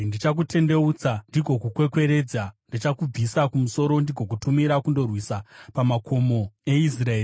Ndichakutendeutsa ndigokukwekweredza. Ndichakubvisa kumusoro ndigokutumira kundorwisa pamakomo eIsraeri.